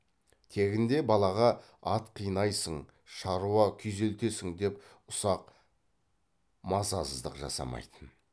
тегінде балаға ат қинайсың шаруа күйзелтесің деп ұсақ мазасыздық жасамайтын